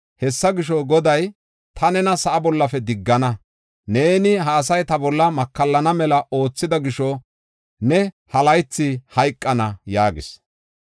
Hessa gisho, Goday, ‘Ta nena sa7a bollafe diggana. Neeni ha asay ta bolla makallana mela oothida gisho ne ha laythi hayqana’ ” yaagis.